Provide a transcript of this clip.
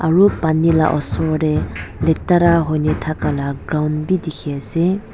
aro pani la osor dae letera hoina ta ka laga ground bi dikhi asae.